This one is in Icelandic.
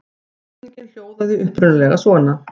Spurningin hljóðaði upprunalega svona: